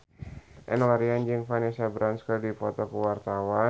Enno Lerian jeung Vanessa Branch keur dipoto ku wartawan